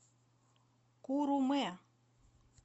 куруме